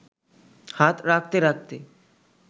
হাত রাখতে রাখতে